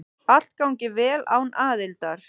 Allt gangi vel án aðildar.